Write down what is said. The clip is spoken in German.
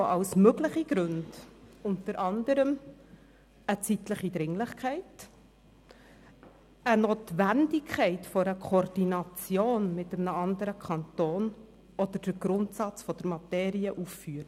Er führt als mögliche Gründe unter anderem eine zeitliche Dringlichkeit, die Notwendigkeit einer Koordination mit einem anderen Kanton oder den Grundsatz der Materie auf.